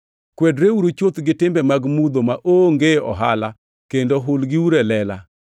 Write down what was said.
Kwedreuru chuth gi timbe mag mudho maonge ohala kendo hulgiuru e lela.